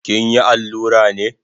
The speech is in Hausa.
Kinyi allura ne?